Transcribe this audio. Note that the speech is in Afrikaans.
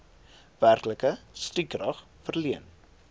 werklike stukrag verleen